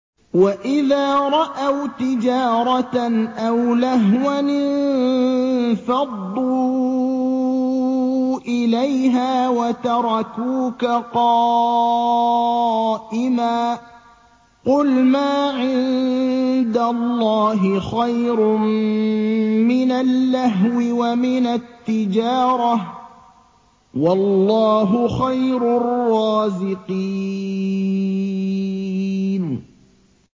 وَإِذَا رَأَوْا تِجَارَةً أَوْ لَهْوًا انفَضُّوا إِلَيْهَا وَتَرَكُوكَ قَائِمًا ۚ قُلْ مَا عِندَ اللَّهِ خَيْرٌ مِّنَ اللَّهْوِ وَمِنَ التِّجَارَةِ ۚ وَاللَّهُ خَيْرُ الرَّازِقِينَ